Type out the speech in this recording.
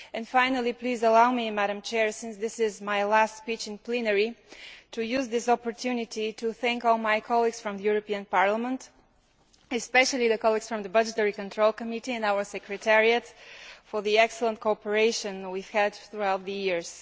Finally, please allow me, since this is my last speech in plenary, to use this opportunity to thank all my colleagues from the European Parliament especially the colleagues from the Budgetary Control Committee and our secretariat for the excellent cooperation we have had throughout the years.